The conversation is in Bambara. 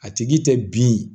A tigi tɛ bin